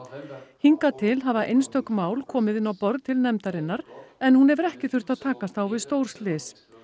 hingað til hafa einstök mál komið inn á borð til nefndarinnar en hún hefur ekki þurft að takast á við stórslys